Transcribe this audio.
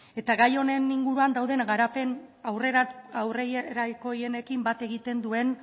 gai honen inguruan dauden garapen aurrerakoienekin bat egiten duen